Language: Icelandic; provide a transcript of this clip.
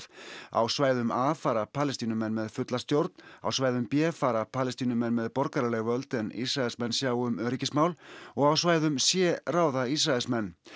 á svæðum a fara Palestínumenn með fulla stjórn á svæðum b fara Palestínumenn með borgaraleg völd en Ísraelsmenn sjá um öryggismál og á svæðum c ráða Ísraelsmenn